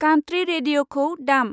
कान्त्री रेदिय'खौ दाम।